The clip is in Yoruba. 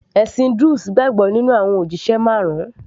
ẹ̀sìn druze gbàgbọ́ nínú àwọn òjíṣẹ marun